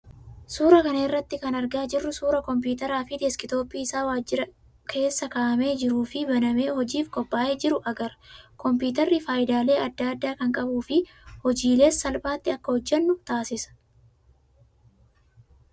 Suuraa kana irraa kan argaa jirru suuraa kompiitaraa fi deeskitooppii isaa waajjira hojii keessa kaa'amee jiruu fi banamee hojiif qophaa'ee jiru agarra. Kompiitarri fayidaalee adda addaa kan qabuu fi hojiilees salphaatti akka hojjannu taasisa.